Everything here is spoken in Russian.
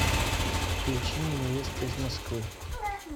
включи мне невеста из москвы